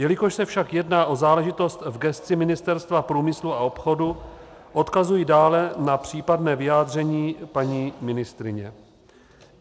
Jelikož se však jedná o záležitost v gesci Ministerstva průmyslu a obchodu, odkazuji dále na případné vyjádření paní ministryně.